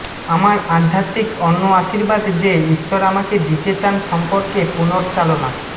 আমার আধ্যাত্মিক অন্য আশীর্বাদ যে ঈশ্বর আমাকে দিতে চান চান সম্পর্কে পুনর্চালনা